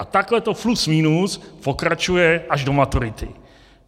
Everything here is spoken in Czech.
A takhle to plus minus pokračuje až do maturity.